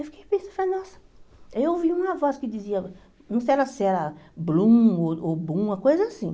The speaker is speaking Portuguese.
Eu fiquei pensando, nossa, eu ouvi uma voz que dizia, não sei se era Blum ou ou Bum, uma coisa assim.